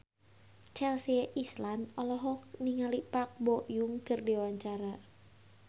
Chelsea Islan olohok ningali Park Bo Yung keur diwawancara